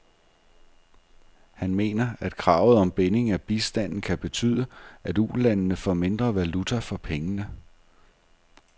Han mener, at kravet om binding af bistanden kan betyde, at ulandene får mindre valuta for pengene.